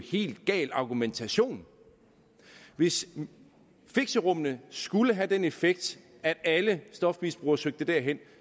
helt gal argumentation hvis fixerummene skulle have den effekt at alle stofmisbrugere søgte derhen